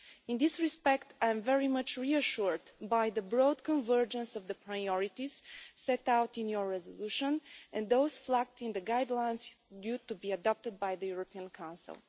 In this respect, I am very much reassured by the broad convergence of the priorities set out in your resolution, and those flagged in the guidelines due to be adopted by the European Council.